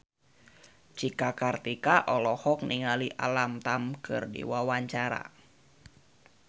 Cika Kartika olohok ningali Alam Tam keur diwawancara